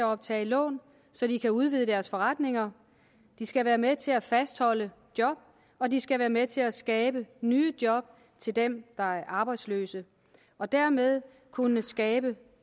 optage lån så de kan udvide deres forretninger de skal være med til at fastholde job og de skal være med til at skabe nye job til dem der er arbejdsløse og dermed kunne skabe